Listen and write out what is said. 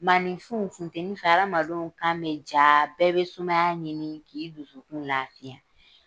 Maaninfinw funtɛni fɛ adamaden kan bɛ ja, bɛɛ bɛ sumaya ɲini k'i dusukun lafiya.